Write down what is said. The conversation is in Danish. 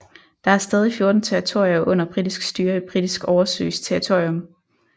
Der er stadig 14 territorier under britisk styre i Britisk oversøisk territorium